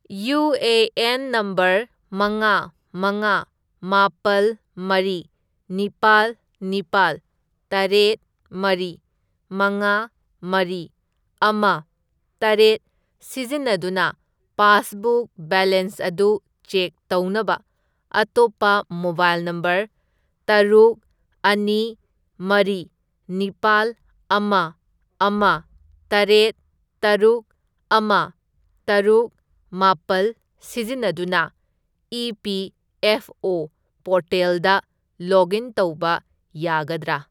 UAN. Number ꯃꯉꯥ, ꯃꯉꯥ, ꯃꯥꯄꯜ, ꯃꯔꯤ, ꯅꯤꯄꯥꯜ, ꯅꯤꯄꯥꯜ, ꯇꯔꯦꯠ, ꯃꯔꯤ, ꯃꯉꯥ, ꯃꯔꯤ, ꯑꯃ, ꯇꯔꯦꯠ ꯁꯤꯖꯤꯟꯅꯗꯨꯅ ꯄꯥꯁꯕꯨꯛ ꯕꯦꯂꯦꯟꯁ ꯑꯗꯨ ꯆꯦꯛ ꯇꯧꯅꯕ ꯑꯇꯣꯞꯄ ꯃꯣꯕꯥꯏꯜ ꯅꯝꯕꯔ ꯇꯔꯨꯛ, ꯑꯅꯤ, ꯃꯔꯤ, ꯅꯤꯄꯥꯜ, ꯑꯃ, ꯑꯃ, ꯇꯔꯦꯠ, ꯇꯔꯨꯛ, ꯑꯃ, ꯇꯔꯨꯛ, ꯃꯥꯄꯜ ꯁꯤꯖꯤꯟꯅꯗꯨꯅ ꯏ.ꯄꯤ.ꯑꯦꯐ.ꯑꯣ. ꯄꯣꯔꯇꯦꯜꯗ ꯂꯣꯒꯏꯟ ꯇꯧꯕ ꯌꯥꯒꯗ꯭ꯔꯥ?